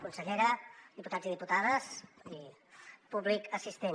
consellera diputats i diputades i públic assistent